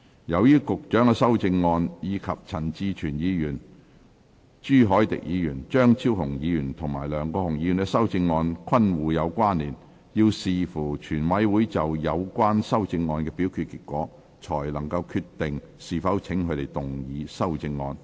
由於局長的修正案，以及陳志全議員、朱凱廸議員、張超雄議員和梁國雄議員的修正案均互有關連，要視乎全委會就有關修正案的表決結果，才決定是否請他們動議修正案。